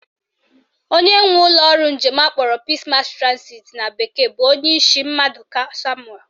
Onye nwe ụlọọrụ njem akpọrọ Peace Mass Transit na bekee bụ Onyeishi Mmadụka Samuel